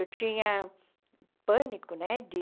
Eu tinha pânico, né de?